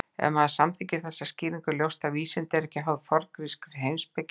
Ef maður samþykkir þessa skýringu er ljóst að vísindi eru ekki háð forngrískri heimspeki.